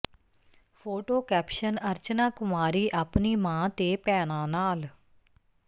photo caption Archana Kumari ਆਪਣੀ ਮਾਂ ਤੇ ਭੈਣਾਂ ਨਾਲ